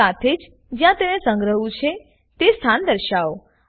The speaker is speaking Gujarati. સાથે જ જ્યાં તેને સ્ન્ગ્રહ્વું છે તે સ્થાન દર્શાવો